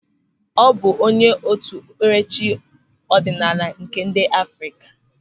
Ọ bụ onye otu okpupkerechi ọdịnala nke ndị Afrịka.